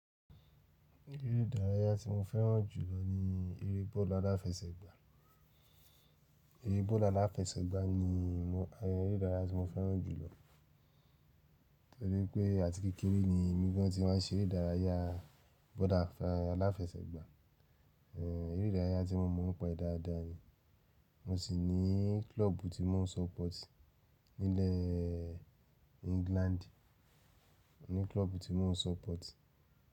Eré ìdárayá tí mo fẹ́ràn jùlọ ni eré bọ́ọ̀lù aláfẹsẹ̀gbá. Eré bọ́ọ̀lù aláfẹsẹ̀gbá ni mọ, eré ìdárayá tí mo fẹ́ràn jùlọ. Torí pé àti kékeré ni mí gán ti má n se eré ìdárayá bọ́ọ̀lù aláfẹsẹ̀gbá. Eré ìdárayá tí mo mọ̀ pé dáadáa ni, mo sì ní klọ́ọ̀bù tí mò ń support nílẹ̀ England. Ni klọ́ọ̀bù tí mò ń support.